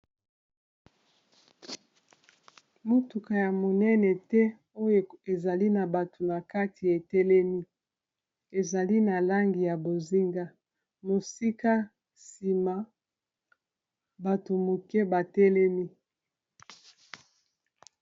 motuka ya monene te oyo ezali na bato na kati etelemi ezali na langi ya bozinga mosika nsima bato moke batelemi